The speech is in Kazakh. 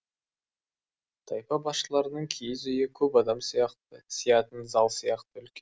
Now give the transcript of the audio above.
тайпа басшыларының киіз үйі көп адам сиятын зал сияқты үлкен